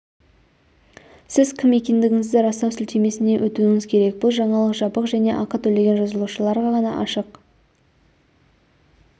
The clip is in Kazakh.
сіз кім екендігіңізді растау сілтемесіне өтуіңіз керек бұл жаңалық жабық және ақы төлеген жазылушыларға ғана ашық